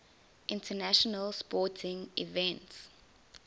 international sporting events